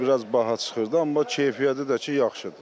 Onlar biraz baha çıxırdı, amma keyfiyyəti də ki yaxşıdır.